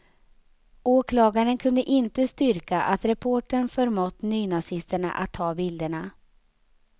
Åklagaren kunde inte styrka att reportern förmått nynazisterna att ta bilderna.